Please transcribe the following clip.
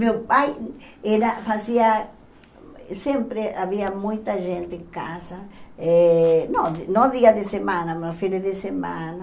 Meu pai era, fazia, sempre havia muita gente em casa, eh no no dia de semana, no fim de semana,